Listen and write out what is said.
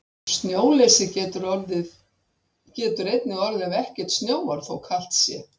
Snjóleysi getur einnig orðið ef ekkert snjóar, þó kalt sé.